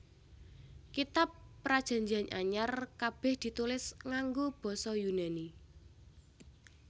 Kitab Prajanjian Anyar kabèh ditulis nganggo basa Yunani